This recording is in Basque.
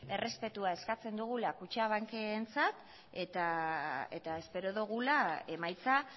errespetua eskatzen dugula kutxabankentzat eta espero dugula emaitza